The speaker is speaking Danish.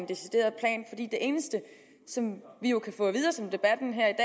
eneste som vi jo kan få at vide og som debatten her i